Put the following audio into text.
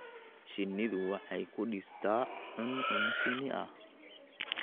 Shinnidu waxay ku dhistaa cuncun shinni ah.